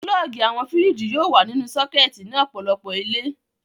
Pulọ́ọ́gì àwọn fíríjì yóò wà nínú sọ́kẹ́tì ní ọ̀pọ̀lọpọ̀ ilé.